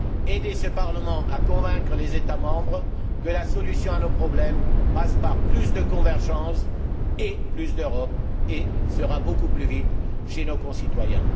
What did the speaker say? Aidez ce Parlement à convaincre les États membres que la solution à nos problèmes passe par plus de convergence et plus d'Europe et qu'elle sera ainsi beaucoup plus vite tangible pour nos concitoyens.